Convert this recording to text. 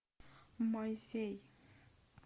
моисей